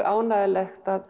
ánægjulegt að